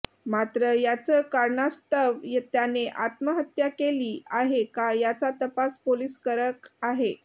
मात्र याचं कारणास्तव त्याने आत्महत्या केली आहे का याचा तपास पोलीस करक आहे